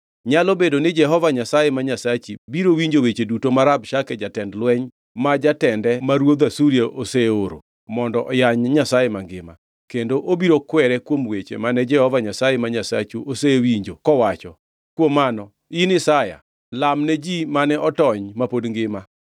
Nyalo bedo ni Jehova Nyasaye ma Nyasachi biro winjo weche duto mag Rabshake jatend lweny, ma jatende ma ruodh Asuria oseoro mondo oyany Nyasaye mangima, kendo obiro kwere kuom weche mane Jehova Nyasaye ma Nyasachu osewinjo kowacho. Kuom mano, in Isaya, lamne ji mane otony ma pod ngima.”